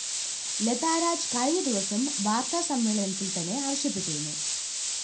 ലതാരാജ്‌ കഴിഞ്ഞ ദിവസം വാര്‍ത്താസമ്മേളനത്തില്‍ തന്നെ ആവശ്യപ്പെട്ടിരുന്നു